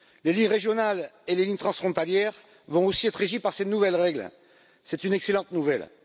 Les lignes régionales et les lignes transfrontalières vont aussi être régies par ces nouvelles règles, c'est une excellente nouvelle.